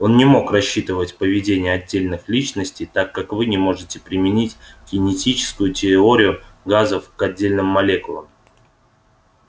он не мог рассчитывать поведение отдельных личностей так как вы не можете применить кинетическую теорию газов к отдельным молекулам